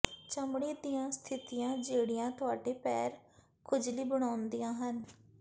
ਚਮੜੀ ਦੀਆਂ ਸਥਿਤੀਆਂ ਜਿਹੜੀਆਂ ਤੁਹਾਡੇ ਪੈਰ ਖੁਜਲੀ ਬਣਾਉਂਦੀਆਂ ਹਨ